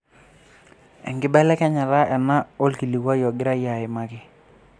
Eibelekenya ena olkilikua ogirai aimaki.